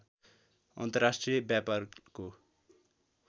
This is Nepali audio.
अन्तर्राष्ट्रिय व्यापारको